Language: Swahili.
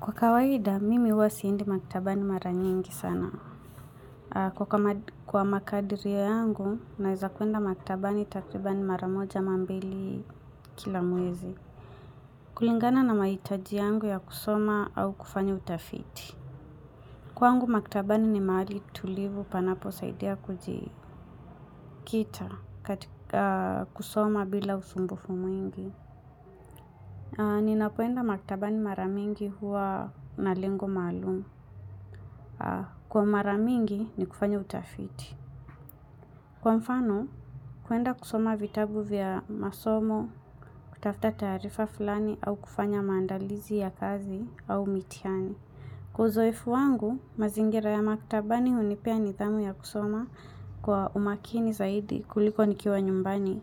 Kwa kawaiida, mimi huwa siendi maktabani mara nyingi sana. Kwa makadirio yangu, naeza kuenda maktabani takribani mara moja ama mbili kila mwezi. Kulingana na mahitaji yangu ya kusoma au kufanya utafiti. Kwangu, maktabani ni mahali tulivu panaposaidia kuji kita katika kusoma bila usumbufu mwingi. Ninapoenda maktabani mara mingi huwa na lengo maalum. Kwa mara mingi, ni kufanya utafiti. Kwa mfano, kuenda kusoma vitabu vya masomo, kutafta taarifa fulani au kufanya maandalizi ya kazi au mitihani. Kwa uzoefu wangu, mazingira ya maktabani hunipea nidhamu ya kusoma kwa umakini zaidi kuliko nikiwa nyumbani,